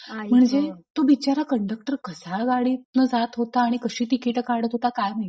म्हणजे हाले गं तो बिचारा कंडक्टर कसा गाडीतन जात होता आणि कशी आणि तिकीट काढत होता काय माहिती?